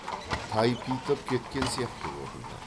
тайпитып кеткен сияқты көрінді